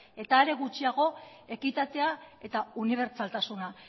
eta are gutxiago ekitatea eta unibertsaltasuna